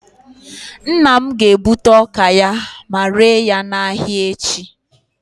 nna m ga-egbute ọka ya, ma ree ya n'ahịa echi